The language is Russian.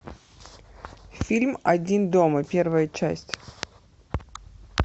фильм один дома первая часть